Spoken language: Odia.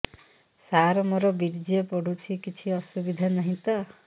ସାର ମୋର ବୀର୍ଯ୍ୟ ପଡୁଛି କିଛି ଅସୁବିଧା ନାହିଁ ତ